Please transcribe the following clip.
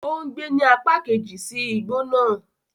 O ngbe ni apa keji si igbo naa